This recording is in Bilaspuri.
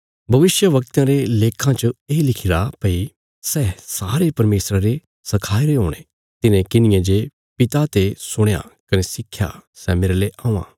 भविष्यवक्तयां रे लेक्खां च ये लिखिरा भई सै सारे परमेशरा रे सखाईरे हुणे तिन्हे किन्हिये जे पिता ते सुणया कने सिक्खया सै मेरले औआं